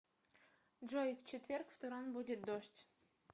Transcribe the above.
джой в четверг в туран будет дождь